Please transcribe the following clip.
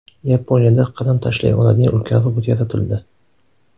Yaponiyada qadam tashlay oladigan ulkan robot yaratildi .